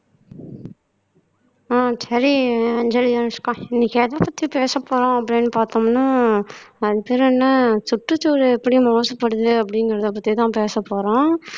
ஆஹ் சரி அஞ்சலி அனுஷ்கா இன்னைக்கு எதைப்பத்தி பேசப்போறோம் அப்படின்னு பார்த்தோம்னா அது பேர் என்ன சுற்றுச்சூழல் எப்படி மாசுபடுது அப்படிங்கிறதை பத்திதான் பேசப்போறோம்